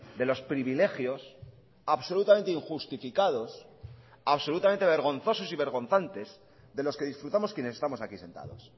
de los privilegios absolutamente injustificados absolutamente vergonzosos y vergonzantes de los que disfrutamos quienes estamos aquí sentados